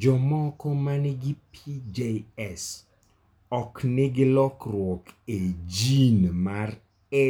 Jomoko ma nigi PJS ok nigi lokruok e